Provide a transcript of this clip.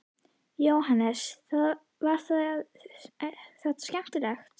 Jóhannes: Var þetta skemmtilegt?